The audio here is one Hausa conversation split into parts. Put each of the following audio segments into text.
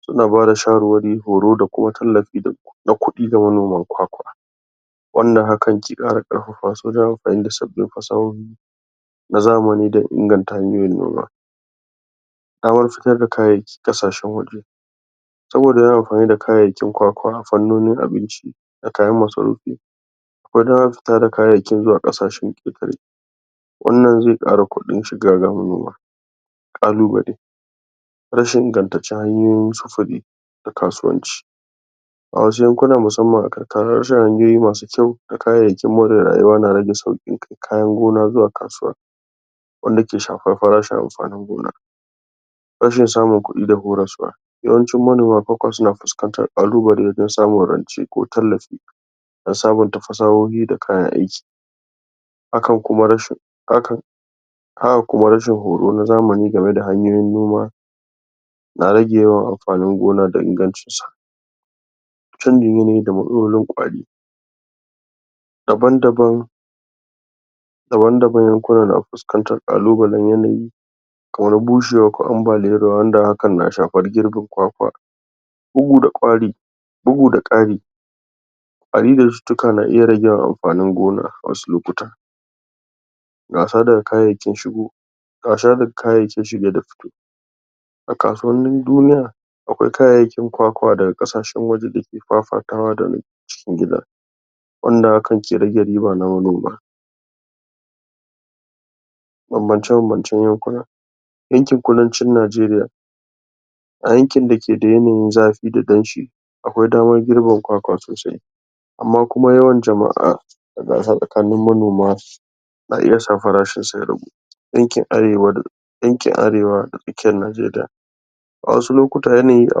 suna bada shawarwari horo da kuma tallafi na kudi ga manoman kwakwa wanda hakan ke kara karfafa su wajen kara amfani da sabin fasahohi na zamani don inganda hanyoyin noma damar fitarda kayayyaki kasashen waje saboda za'ayi amfani da kayayyakin kwakwa fannonin abincida kayan masarufi kodan fitar da kayayyakin zuwa kasashen ketare wannan zai kara kudin shiga ga manoma kalubalai rashin ingantaccen hanyoyin sufuri fa kasuwanci a wasu yankunan musamman a karkara rashin hanyoyi masu kyau da da kayayyakin mu da rayuwa na rage sauki kai kayan gona zuwa kasuwa wanda ke shafar farashin amfanin gona rashin samun kudi da horaswa yawancin manoma fa suna fuskantar kalubalai wajen samun rance ko tallafi don sabinta fasahohi da kayan aiki akan kuma rashin haka kuma rashin horo na zamani game da hanyoyin noma na rage yawan amfanin gona da ingancin sa chanjin yanayi da matsalolin kwari daban daban na fuskantar kalubalan yanayi bushewa ko ambaliyar ruwa wanda hakan na shafar girbin kwakwa bugu da kwari bugu da kari amfani ta cutuka na iya rage ma amfanin gona wasu lokutan gasa da kayayaki shigo gasa da kayayyakin shige da fici a kasuwannin duniya akwai kayayyakin kwakwa daga kasashen waje dake fafatawa da na cikin gida wanda hakan ke rage riba na manoma banbance bambancen yankuna yankin kudancin nageriya a yankin dake da yanayin zafi da danshi akwai damar girbin kwakwa sosai amma kuma yawan jama'a tsakanin manoma na iya sa farashin sa ya ragu yankin arewa da tsakkiyar nageriya wadansu lokutta yanayi a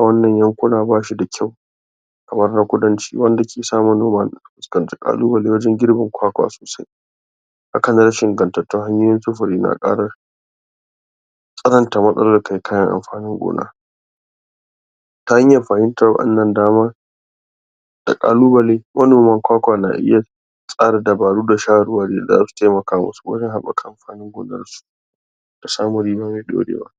wannan yankuna bashida kyau kamar na kudanci wanda ke samun noman kalubale wajen girbin kwakwa sosai hakan rashin ingantattun hanyoyin sufuri na kafa tsanta matsalar kai kayan amfanin gona ta hanyar fahimtar wannan damar da kalubalai manoman kwakwana iya kara dabaru da shawarwari da zasu taimaka masu wajen habaka amfanin gonar su da samun riba mai dorewa